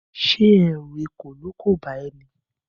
Ṣé ẹ̀rù ekòló kò bá ẹ ní?